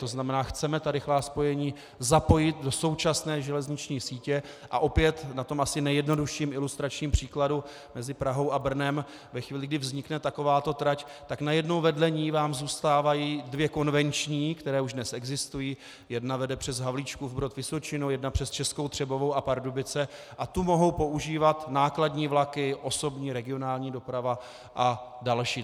To znamená, chceme ta rychlá spojení zapojit do současné železniční sítě, a opět na tom asi nejjednodušším ilustračním příkladu mezi Prahou a Brnem ve chvíli, kdy vznikne takováto trať, tak najednou vedle ní vám zůstávají dvě konvenční, které už dnes existují, jedna vede přes Havlíčkův Brod, Vysočinu, jedna přes Českou Třebovou a Pardubice a tu mohou používat nákladní vlaky, osobní regionální doprava a další.